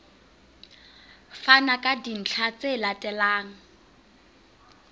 fana ka dintlha tse latelang